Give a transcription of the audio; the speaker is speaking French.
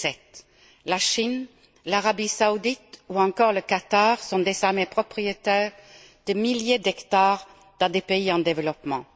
2007. La Chine, l'Arabie saoudite ou encore le Qatar sont désormais propriétaires de milliers d'hectares dans des pays en développement.